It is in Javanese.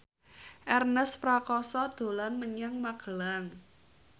Ernest Prakasa dolan menyang Magelang